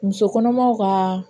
Muso kɔnɔmaw ka